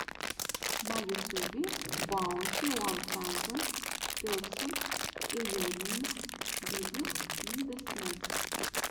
на ютюбе баунти уан таузенд персент эернингс бизнесс инвэстментс